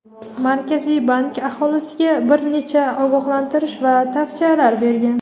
Markaziy bank aholiga bir nechta ogohlantirish va tavsiyalar bergan.